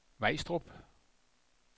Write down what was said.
Vejstrup